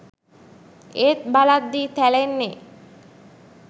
ඒත් බලද්දි තැලෙන්නෙ